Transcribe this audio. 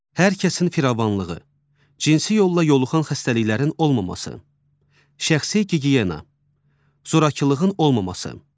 Hər kəsin firavanlığı, cinsi yolla yoluxan xəstəliklərin olmaması, şəxsi gigiyena, zorakılığın olmaması.